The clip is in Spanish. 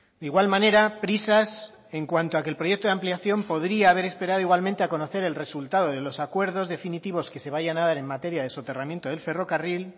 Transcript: de igual manera prisas en cuanto a que el proyecto de ampliación podría haber esperado igualmente a conocer el resultado de los acuerdos definitivos que se vayan a dar en materia de soterramiento del ferrocarril